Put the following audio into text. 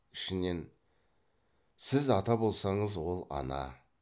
ішінен сіз ата болсаңыз ол ана